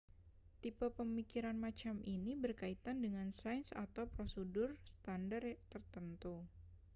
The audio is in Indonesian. tipe pemikiran macam ini berkaitan dengan sains atau prosedur standar tertentu